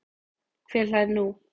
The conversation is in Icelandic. Hver hlær nú?